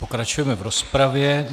Pokračujeme v rozpravě.